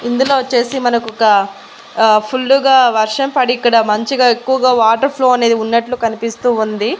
ఇందులో వచ్చేసి మనకు ఒకా ఆ ఫుల్లుగా వర్షం పడి ఇక్కడ మంచిగా ఎక్కువగా వాటర్ ఫ్లో అనేది ఉన్నట్లు కనిపిస్తూ ఉంది.